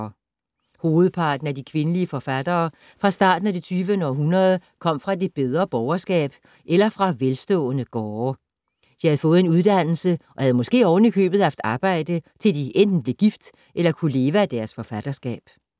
Hovedparten af de kvindelige forfattere fra starten af det 20. århundrede kom fra det bedre borgerskab eller fra velstående gårde. De havde fået en uddannelse og havde måske oven i købet haft arbejde til de enten blev gift eller kunne leve af deres forfatterskab.